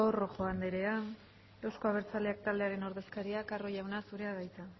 rojo anderea euzko abertzaleak taldearen ordezkariak carro jauna zurea da hitza